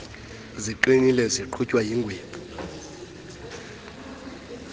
ziqinile zigqunywe yinwebu